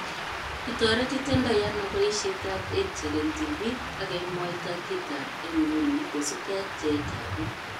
Kitoretitendoi ano boishetab EdTech eng tibik ak kemwoita kitab eng nguni kosubke ak bjeetab bik